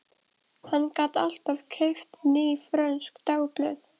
Hann gat alltaf keypt ný frönsk dagblöð.